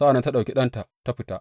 Sa’an nan ta ɗauki ɗanta ta fita.